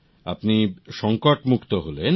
আপনি সংকট মুক্ত হলেন